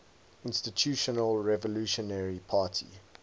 institutional revolutionary party